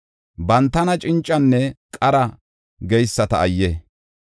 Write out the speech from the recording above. Bantana cincanne qara geyisata ayye!